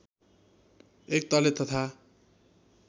एक तले तथा